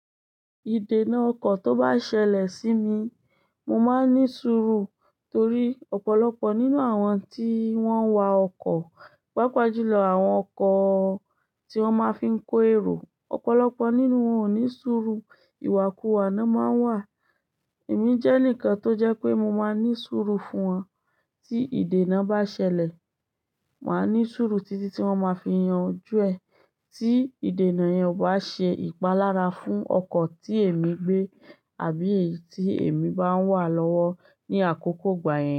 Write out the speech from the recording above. Ìdènà ọkọ̀ tó bá ṣẹlẹ̀ sí mi, mo máa ní sùúrù torí ọ̀pọ̀lọpọ̀ nínú àwọn tí wọ́n ń wa ọkọ̀, pàápàá jùlọ àwọn ọkọ̀ tí wọ́n máa fí ń kó ẹro, ọ̀pọ̀lọpọ̀ nínú wọn ò ní sùúrù, ìwàkuwà náà máa ń wà. Èmi jẹ́ enikan tó jẹ́ pé mo máa ní sùúrù fún wọn. Tí ìdènà bá ṣẹlẹ̀, màá ní sùúrù títí tí wọ́n ma fi yanjú ẹ. Tí ìdènà yẹn ò bá ṣe ìpalára fún ọkọ̀ tí èmi gbé àbí eyi tí èmi bá wà lọ́wọ́ ní àkókò ìgbà yẹn.